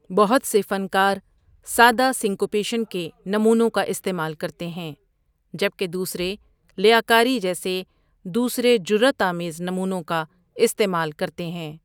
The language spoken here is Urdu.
بہت سے فنکار سادہ سنکوپیشن کے نمونوں کا استعمال کرتے ہیں جبکہ دوسرے لیاکاری جیسے دوسرے جراؑت آمیز نمونوں کا استعمال کرتے ہیں۔